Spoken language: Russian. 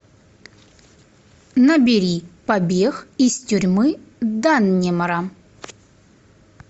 набери побег из тюрьмы даннемора